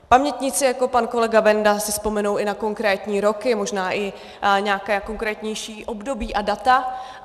Pamětníci jako pan kolega Benda si vzpomenou i na konkrétní roky, možná i nějaké konkrétnější období a data.